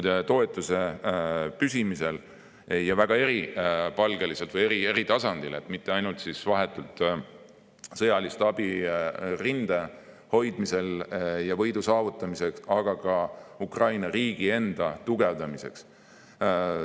Need toetused on väga eripalgelised, eri tasandil, ei anta mitte ainult vahetut sõjalist abi rinde hoidmisel ja võidu saavutamiseks, vaid abi antakse ka Ukraina riigi enda tugevdamiseks.